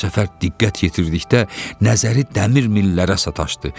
Bu səfər diqqət yetirdikdə nəzəri dəmir millərə sataşdı.